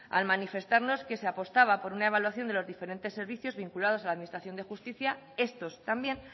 al manifestarnos que se apostaba por una evaluación de los diferentes servicios vinculados a la administración de justicia estos también